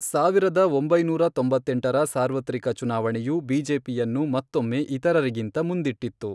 ಸಾವಿರದ ಒಂಬೈನೂರ ತೊಂಬತ್ತೆಂಟರ ಸಾರ್ವತ್ರಿಕ ಚುನಾವಣೆಯು, ಬಿಜೆಪಿಯನ್ನು ಮತ್ತೊಮ್ಮೆ ಇತರರಿಗಿಂತ ಮುಂದಿಟ್ಟಿತ್ತು.